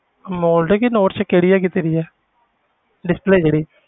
Amoled ਕਿ 'ਚ ਕਿਹੜੀ ਹੈਗੀ ਤੇਰੀ ਆ display ਜਿਹੜੀ